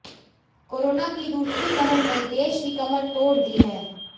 corona की दूसरी लहर ने देश की कमर तोड़ दी है